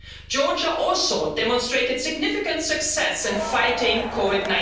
Georgia also demonstrated significant success in fighting COVID